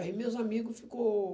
Aí meus amigos ficou...